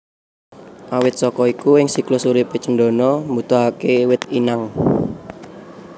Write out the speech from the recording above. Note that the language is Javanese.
Awit saka iku ing siklus uripe cendana mbutuhake wit inang